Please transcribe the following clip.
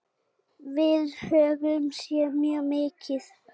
Við höfum séð mjög mikið.